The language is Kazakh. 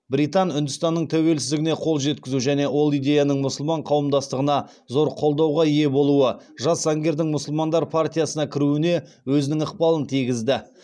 британ үндістанының тәуелсіздігіне қол жеткізу және ол идеяның мұсылман қауымдастығында зор қолдауға ие болуы жас заңгердің мұсылмандар партиясына кіруіне өзінің ықпалын тигізді